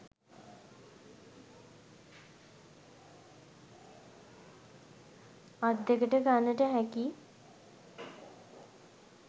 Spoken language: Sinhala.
අත් දෙකට ගන්නට හැකි